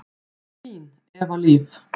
Þín, Eva Líf.